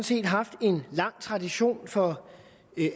set haft en lang tradition for